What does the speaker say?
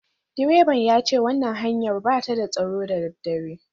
Direban ya ce wannan hanyar ba ta da tsaro da daddare